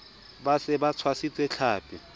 ba se ba tshwasitse tlhapi